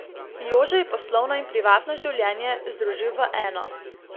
Jože je poslovno in privatno življenje združil v eno.